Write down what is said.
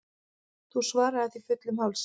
Þú svaraðir því fullum hálsi.